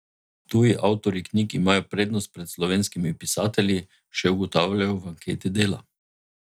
Tuji avtorji knjig imajo prednost pred slovenskimi pisatelji, še ugotavljajo v anketi Dela.